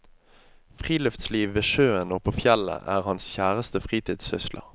Friluftsliv ved sjøen og på fjellet er hans kjæreste fritidssysler.